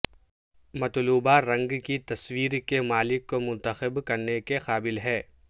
مطلوبہ رنگ کی تصویر کے مالک کو منتخب کرنے کے قابل ہے